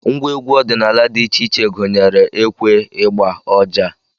Ngwa egwu ọdịnala dị iche iche gụnyere ekwe, ịgba, ọjà